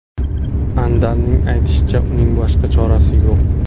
Andalning aytishicha, uning boshqa chorasi yo‘q.